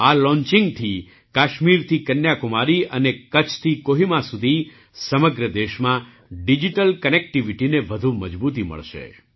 આ લૉંચિંગથી કાશ્મીરથી કન્યાકુમારી અને કચ્છથી કોહિમા સુધી સમગ્ર દેશમાં ડિજિટલ કનેક્ટિવિટીને વધુ મજબૂતી મળશે